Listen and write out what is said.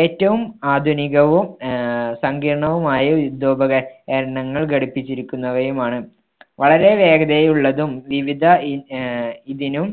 ഏറ്റവും ആധുനികവും ആഹ് സങ്കീർണവുമായ യുദ്ധോപകര~കരണങ്ങൾ ഘടിപ്പിച്ചിരിക്കുന്നവയുമാണ്. വളരെ വേഗതയിൽ ഉള്ളതും വിവിധ ഈ ആഹ് ഇതിനും